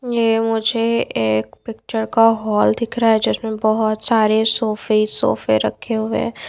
ये मुझे एक पिक्चर का हॉल दिख रहा है जिसमें बहोत सारे सोफे सोफे रखे हुए--